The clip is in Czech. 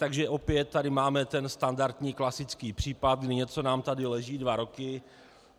Takže opět tady máme ten standardní klasický případ, kdy něco nám tady leží dva roky.